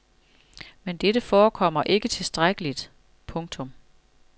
Men dette forekommer ikke tilstrækkeligt. punktum